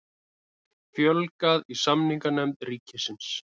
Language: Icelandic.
Fjölgað í samninganefnd ríkisins